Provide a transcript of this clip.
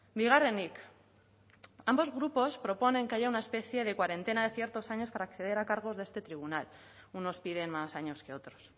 bigarrenik ambos grupos proponen que haya una especie de cuarentena de ciertos años para acceder a cargos de este tribunal unos piden más años que otros